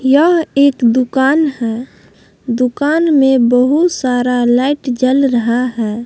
यह एक दुकान है दुकान में बहुत सारा लाइट जल रहा है।